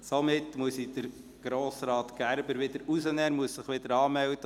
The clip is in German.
Somit muss ich Grossrat Gerber wieder aus der Liste entfernen, er muss sich dann neu anmelden.